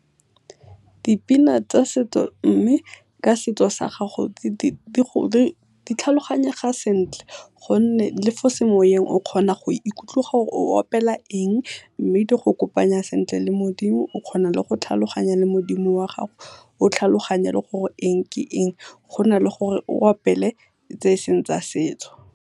Dipina tsa setso mme ka setso sa gago di tlhaloganyega sentle gonne le fo semoyeng o gona go ikutlwa gore o opela eng mme di go kopanya sentle le Modimo, o kgona le go tlhaloganya le Modimo wa gago o tlhaloganye le gore eng ke eng, go na le gore o opele tse e seng tsa setso.